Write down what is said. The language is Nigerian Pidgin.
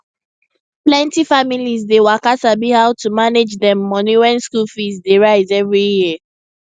plenti families dey waka sabi how to manage dem money wen school fees dey rise every year